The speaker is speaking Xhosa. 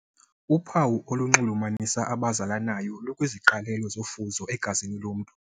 Uphawu olunxulumanisa abazalanayo lukwiziqalelo zofuzo egazini lomntu.